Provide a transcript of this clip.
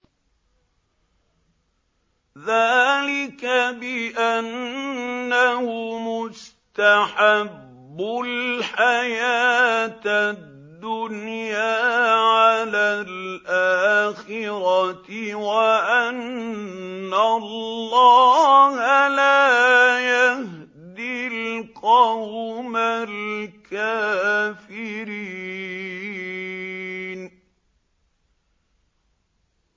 ذَٰلِكَ بِأَنَّهُمُ اسْتَحَبُّوا الْحَيَاةَ الدُّنْيَا عَلَى الْآخِرَةِ وَأَنَّ اللَّهَ لَا يَهْدِي الْقَوْمَ الْكَافِرِينَ